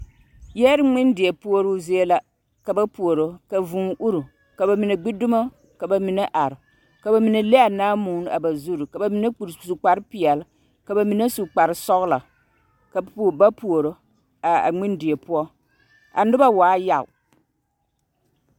Yɛre ngmendie puoroo zie la ka ba puoro ka vūū uri ka ba mine gbi dumo ka ba mine are ka ba mineble a naamuuni a ba zurre su kpare peɛle ka ba mine su kparesɔglɔ ka puo ba puoro a a ngmendie poɔ a nobɔ waa yag.